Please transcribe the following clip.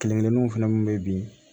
Kelen kelenninw fɛnɛ mun be bin